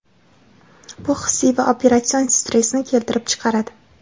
bu hissiy va operatsion stressni keltirib chiqaradi.